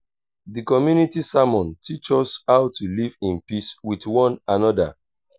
the community sermon teach us how to live in peace with one another.